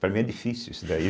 Para mim é difícil isso daí.